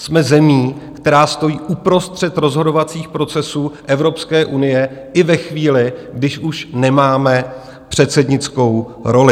Jsme zemí, která stojí uprostřed rozhodovacích procesů Evropské unie i ve chvíli, když už nemáme předsednickou roli.